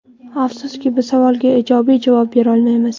Afsuski, bu savolga ijobiy javob berolmaymiz.